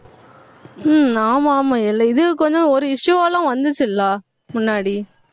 ஹம் ஆமா ஆமா எல்லா இது கொஞ்சம், ஒரு issue எல்லாம் வந்துச்சு இல்ல முன்னாடி